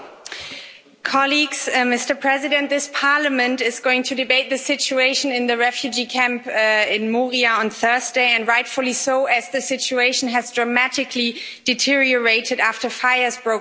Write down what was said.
Mr President, this Parliament is going to debate the situation in the refugee camp in Moria on Thursday, and rightfully so as the situation has dramatically deteriorated after fires broke out last week.